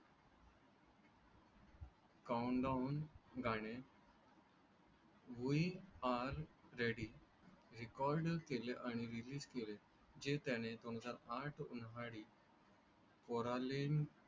Count down गाणे we are ready record केले आणि रिलीज केले. जे त्याने दोन हजार आठ उन्हाळी कोरॅलिन